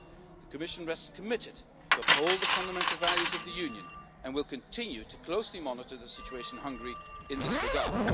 The Commission remains committed to upholding the fundamental values of the Union and will continue to closely monitor the situation in Hungary in this regard.